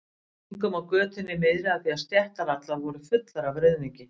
Gengum á götunni miðri því stéttar allar voru fullar af ruðningi.